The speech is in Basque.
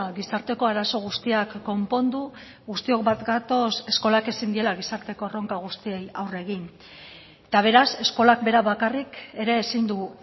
gizarteko arazo guztiak konpondu guztiok bat gatoz eskolak ezin diela gizarteko erronka guztiei aurre egin eta beraz eskolak berak bakarrik ere ezin du